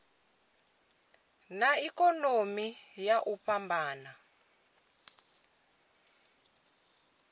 na ikonomi na u fhambana